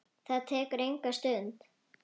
Það tekur enga stund.